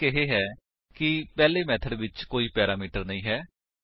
ਫ਼ਰਕ ਇਹ ਹੈ ਕਿ ਪਹਿਲੇ ਮੇਥਡ ਵਿੱਚ ਕੋਈ ਵੀ ਪੈਰਾਮੀਟਰ ਨਹੀਂ ਹੈ